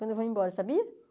Quando eu vou embora, sabia?